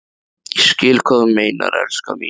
Ég skil hvað þú meinar, elskan mín.